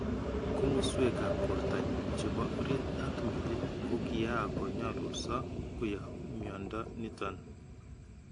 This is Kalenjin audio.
" Komasweekab bortonyun chebo oriit ak meliik kokiyako nyalulso koyaab myando niton.